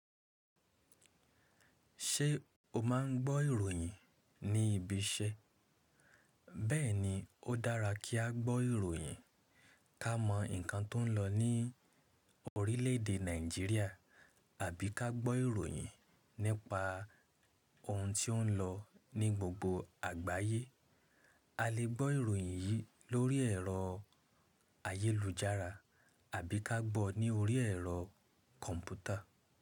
Ṣé o máa ń gbọ́ ìròyìn ní ibi iṣẹ́? Bẹ́ẹ̀ni, ó dára kí á gbọ́ ìròyìn ká mọ nǹkan tó ń lọ ní orílẹ̀èdè Nàìjíríà àbí ká gbọ́ ìròyìn nípa ohun tí ó ń lọ ní gbogbo àgbáyé. A lè gbọ́ ìròyìn yìí lórí ẹ̀rọ ayélujára àbí ká gbọ́ ní orí ẹ̀rọ kọ̀ǹpútà.